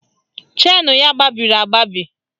Chenu ya gbabiri agbabi